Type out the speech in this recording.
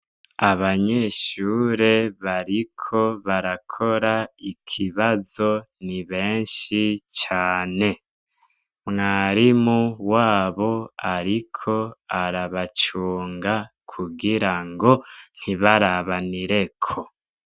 Abanyeshuri bariko barakora ikibazo ni beshi cane mwarimu wabo ariko arabacunga kugirango ntibarabanireko.